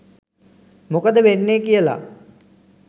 මොකද වෙන්නේ කියලා